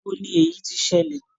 Ibo ni èyí ti ṣẹlẹ̀?